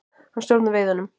Hann stjórnar veiðunum.